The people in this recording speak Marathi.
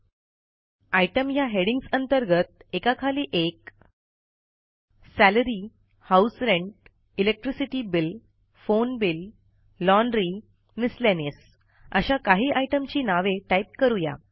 आयटीईएमएस ह्या हेडिंग्ज अंतर्गत एकाखाली एक salary house rent electricity bill phone bill laundry miscellaneous अशा काही आयटमची नावे टाईप करू या